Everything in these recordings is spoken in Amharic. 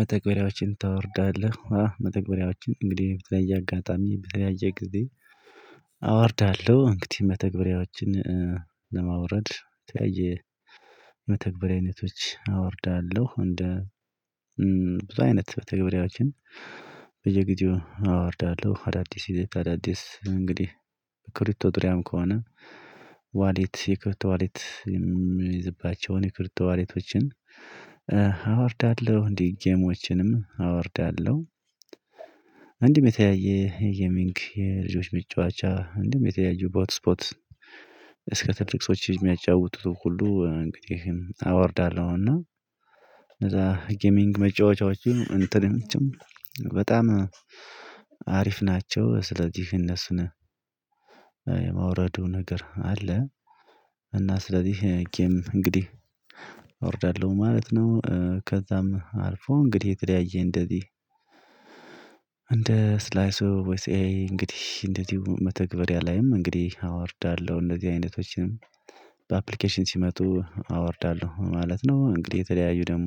መተግበሪያዎችን ታወርዳለህ አ መተግበሪያዎችን እንግዲህ በተለየ አጋጣሚ በተለያየ ጊዜ። አወርዳለሁ እንግዲህ መተግበሪያዎችን ለማውረድ የተለያየ መተግበሪያ አይነቶች አወርዳለሁ። እንደ ብዙ አይነት መተግበሪዎችን በየጊዜው አወርዳለሁ። አዳዲስ አዳዲስ እንግዲህ ክሪብቶ ድሪያም ከሆነ ዋሌት የክሪብቶ ዋሌት የሚይዝባቸውን የክሪብቶ ዋሌቶችን አወርዳለሁ እንዲህ ጌሞችንም አወርዳለሁ። እንዲህም የተለያየ የሚንክ የልጆች ምጫወቻ እንዲህም የተለያዩ በሆት ስፖት እስከ ትልቅ ሰዎች የሚያጫውቱ ሁሉ እንግዲህ አወርዳለሁ። እና ከዛ ጌሚንግ መጫወቻዎችን እንትንም በጣም ናቸው ስለዚህ እነሱን የማውረዱ ነገር አለ። እና ስለዚህ ጌም እንግዲህ አወርዳለሁ ማለት ነው። ከዛም አልፎ እንግዲህ የተለያየ እንደዚህ እንደ ስላይሱ ቮይስ ኤ እንግዲህ እንደዚሁ መተግበሪያ ላይም እንግዲህ አወርዳለሁ እንደዚህ አይነቶችንም በአፕሊኬሽን ሲመጡ አወርዳለሁ ማለት ነው። እንግዲህ የተለያዩ ደግሞ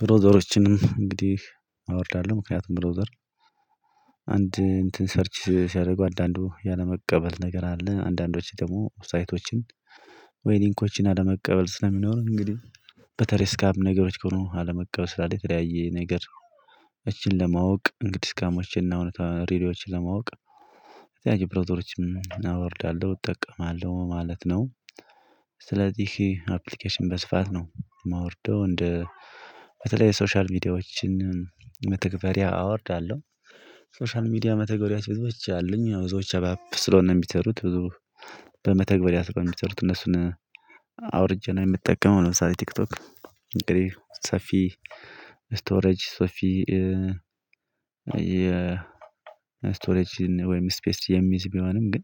ብሮዘሮችንም እንግዲህ አወርዳለሁ። ምክንያቱም ብሮዘር አንድ እንትን ሰርች ሲያደርጉ አንዳንዱ ያለመቀበል ነገር አለ አንዳንዶቹ ደግሞ ሳይቶችን ወይ ሊንኮችን አለመቀበል ስለሚኖር እንግዲህ በስካም ነገሮች ከሆኑ አለመቀበል የተለያየ ነገር ለማወቅ እንግዲህ ስካሞችንና እውነታ ሪሊዎችን ለማወቅ የተለያዘየ ብሮዘሮችን አወርዳለሁ እጠቀማለሁ ማለት ነው። ስለዚህ ይሄ አፕሊኬሽን በስፋት ነው ማወርደው እንደ በተለይ የሶሻል ሚዲያዎችን መተግበሪያ አወርዳለሁ። ሶሻል ሚዲያ መተግበሪያ ብዙዎች አሉኝ ብዙዎች አባብ ስለሆነ የሚሰሩት ብዙ በመተግበሪያ ስለሆነ የሚሰሩት እነሱን አውርጄ ነው የምጠቀመው። ለምሳሌ ቲክቶክ እንግዲህ ሰፊ ስቶሬጅ ሶፊ የ ስቶሬጅ ወይም ስፔስ የሚይዝ ቢሆንም ግን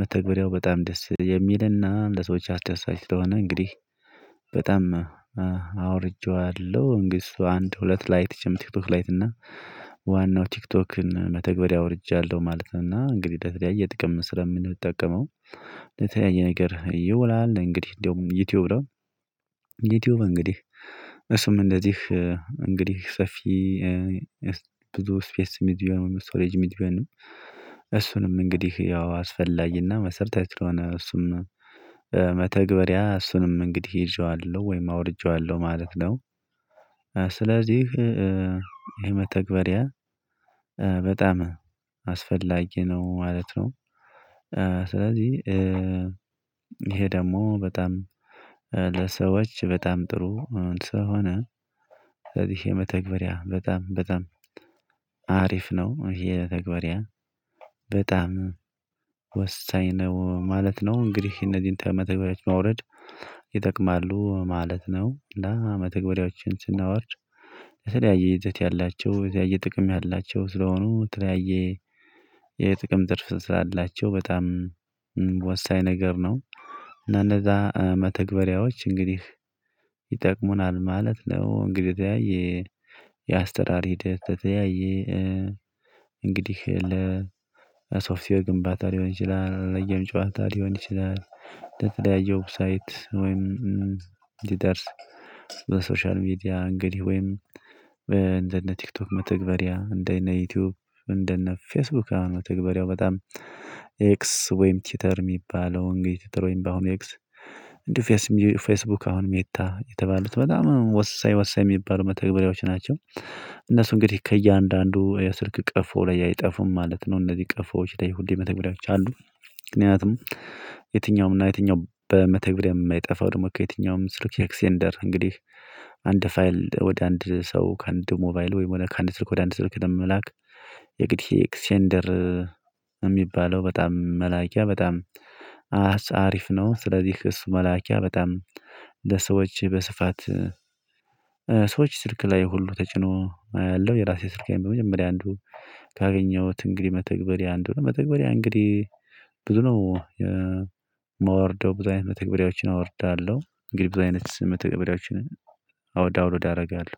መተግበሪያው በጣም ደስ የሚልና ለሰዎች አስደሳች ስለሆነ እንግዲህ በጣም አወርጄዋለሁ። እንግዲ እሱ አንድ ሁለት ላይ ቲክቶክ ላይትና ዋናው ቲክቶክን መተግበሪያ አወርጃለሁ ማለት ነው። እና እንግዲህ ለተለያየ ጥቅም ስለምንጠቀመው ለተለያየ ነገር ይውላል። እንግዲህ ደሞ ዩቲዩብ ነው። ዩቲዩብ እንግዲህ እሱም እንደዚህ እንግዲህ ሰፊ ብዙ ስፔስ ሚድቢየን ስቶሬጅ ሚድቢየንም እሱንም እንግዲህ ያው አስፈላጊና መሰረታዊ ስለሆነ እሱም መተግበሪያ እሱንም እንግዲህ ይዤዋለሁ ወይም አውርጄዋለሁ ማለት ነው። ስለዚህ ይሄ መተግበሪያ በጣም አስፈላጊ ነው ማለት ነው። ስለዚህ ይሄ ደግሞ በጣም ለሰዎች በጣም ጥሩ ስለሆነ ስለዚህ የመተግበሪያ በጣም በጣም አሪፍ ነው ይሄ የተግበሪያ በጣም ወሳኝ ነው ማለት ነው። እንግዲህ እነዚህን መተግበሪዎችን ማውረድ ይጠቅማሉ ማለት ነው። እና መተግበሪያዎችን ስናወርድ የተለያየ ይዘት ያላቸው የተለያየ ጥቅም ያላቸው ስለሆኑ የተለያየ የጥቅም ትርፍ ስላላቸው በጣም ወሳኝ ነገር ነው። እና እነዛ መተግበሪያዎች እንግዲህ ይጠቅሙናል ማለት ነው። እንግዲህ የተለያየ የአሰራር ሂደት የተለያየ እንግዲህ ለሶፍትዌር ግንባታ ሊሆን ይችላል ለየም ጨዋታ ሊሆን ይችላል። ለተለያየ ዌብሳይት ወይም ሊደርስ በሶሻል ሚዲያ እንግዲህ ወይም እንደነ ቲክቶክ መተግበሪያ እንደነ ዩቲዩብ እንደነ ፌስቡክ ነው ተግባሪያው በጣም ኤክስ ወይም ቲተር የሚባለው እንግዲህ ቲተር ትሮይንባሁን ኤክስ እንዲሁ ፌስቡክ አሁን ሜታ የተባሉት በጣም ወሳኝ ወሳኝ የሚባሉ መተግበሪያዎች ናቸው። እነሱ እንግዲህ ከእያንዳንዱ የስልክ ቀፎ ላይ አይጠፉም ማለት ነው። እነዚህ ቀፎዎች ላይ ሁሌ መተግበሪያዎች አሉ። ምክንያቱም የትኛውም እና የትኛውም በመተግበሪያ የማይጠፋው ደግሞ ከየትኛውም ስልክ ኤክሴንደር እንግዲህ አንድ ፋይል ወደ አንድ ሰው ከአንድ ሞባይል ወይም ከአንድ ስልክ ወደ አንድ ስልክ ደግሞ ለመላክ የግድ ኤክሴንደር የሚባለው በጣም መላኪያ በጣም አሪፍ ነው። ስለዚህ እሱ መላኪያ በጣም ለሰዎች በስፋት ሰዎች ስልክ ላይ ሁሉ ተጭኖ ያለው የራሴ ስልካን በመጀመሪያ አንዱ ካገኘሁት እንግዲህ መተግበሪያ አንዱ መተግበሪያ እንግዲህ ብዙ ነው የማወርደው ብዙ አይነት መተግበሪያዎችን አወርዳለሁ። እንግዲህ ብዙ አይነት መተግበሪያዎችን ዳውንሎድ አደርጋለሁ።